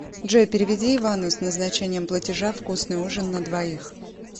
джой переведи ивану с назначением платежа вкусный ужин на двоих